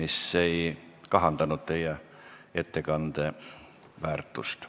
See ei kahandanud teie ettekande väärtust.